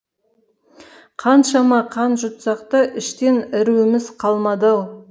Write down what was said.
қаншама қан жұтсақ та іштен іруіміз қалмады ау